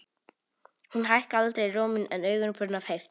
Hún hækkaði aldrei róminn en augun brunnu af heift.